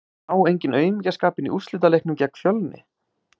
Sá enginn aumingjaskapinn í úrslitaleiknum gegn Fjölni?